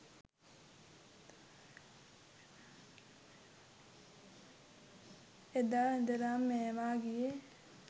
එදා ඉදලම මේවා ගියේ